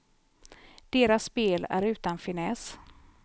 Deras spel är utan finess.